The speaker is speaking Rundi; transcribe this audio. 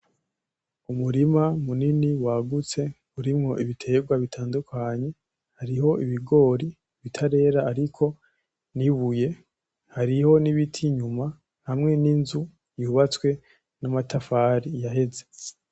Umurima munini wagutse, urimwo ibiterwa bitandukanye, Hariho ibigori bitarera hariko n'ibuye. Hariho n'ibiti inyuma. Hamwe n'inzu yubatswe n'amatafari yaheze.